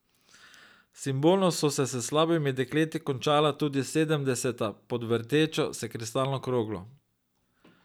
Simbolno so se s slabimi dekleti končala tudi sedemdeseta pod vrtečo se kristalno kroglo.